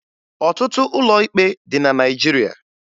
Ọtụtụ ụlọ ikpe dị na Naịjirịa